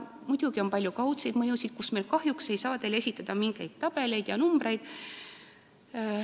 Muidugi on palju kaudseid mõjusid, mille kohta ma kahjuks ei saa teile esitada mingeid tabeleid ega numbreid.